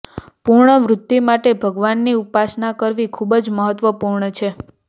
પુણ્ય વૃદ્ધિ માટે ભગવાનની ઉપાસના કરવી ખૂબ જ મહત્વપૂર્ણ છે